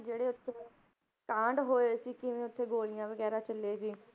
ਜਿਹੜੇ ਉੱਥੇ ਕਾਂਡ ਹੋਏ ਸੀ ਕਿਵੇਂ ਉੱਥੇ ਗੋਲੀਆਂ ਵਗ਼ੈਰਾ ਚੱਲੇ ਸੀ,